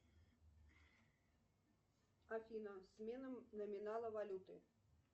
афина смена номинала валюты